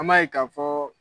An b'a ye k'a fɔɔ